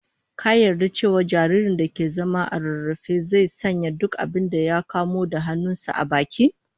Ka yarda cewa jaririn da ke zama ko rarrafe, zai sanya duk abinda ya kamo da hannun sa a baki?